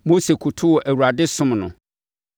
Mose kotoo Awurade somm no.